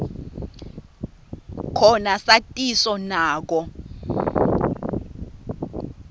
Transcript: khona satiso nako